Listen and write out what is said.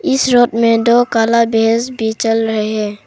इस रोड में दो काला भैस भी चल रहे हैं।